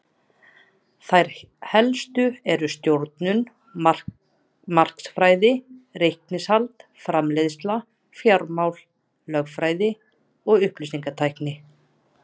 Þær helstu eru stjórnun, markaðsfræði, reikningshald, framleiðsla, fjármál, lögfræði og upplýsingatækni.